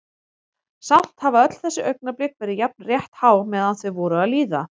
Samt hafa öll þessi augnablik verið jafn rétthá meðan þau voru að líða.